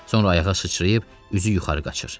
Sonra ayağa sıçrayıb üzü yuxarı qaçır.